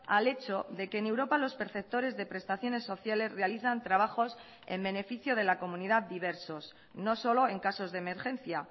al hecho de que en europa los perceptores de prestaciones sociales realizan trabajos en beneficio de la comunidad diversos no solo en casos de emergencia